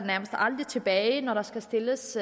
tilbage når der skal stilles